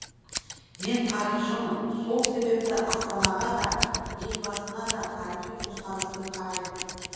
мен тарихшымын сол себептен астанаға да елбасына да тарихи көзқараспен қараймын